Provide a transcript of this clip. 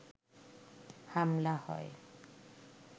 হামলা হয়